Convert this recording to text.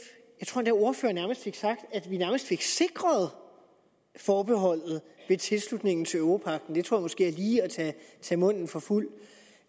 ordfører fik sagt at vi nærmest fik sikret forbeholdet med tilslutningen til europagten det tror jeg måske lige er at tage munden for fuld